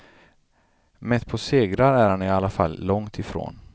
Mätt på segrar är han i alla fall långt ifrån.